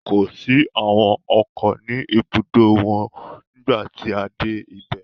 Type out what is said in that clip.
Kò sí àwọn ọkọ̀ ní ibùdó wọn nígbà tí a dé ibẹ̀